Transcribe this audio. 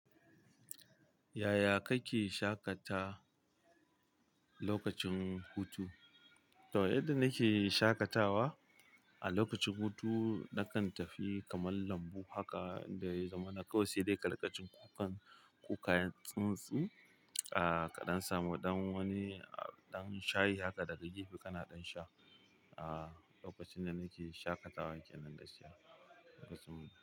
Yaya kake shaƙata lokacin hutu? To, yadda nake shaƙatawa a lokacin hutu, na kan tafi kamar lambu haka da ya zama na kawai sedai ka riƙa jin kukan kukayen tsuntsu. Aaa, kaɗan samu ɗan wani, ɗan shayi haka daga gefe kana ɗan sha. Aaa, lokacin da nake shaƙatawa kenan gaskiya kasu.